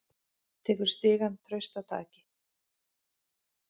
Tekur stigann traustataki.